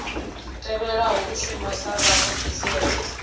tevhelaho u shuma sa vhaofisiri